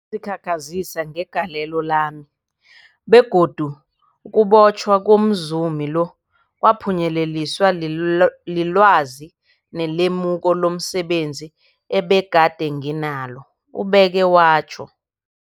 zikhakhazisa ngegalelo lami, begodu ukubotjhwa komzumi lo kwaphunyeleliswa lilwazi nelemuko lomse benzi ebegade nginalo, ubeke watjho.